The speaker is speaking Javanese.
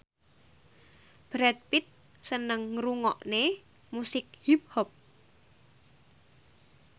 Brad Pitt seneng ngrungokne musik hip hop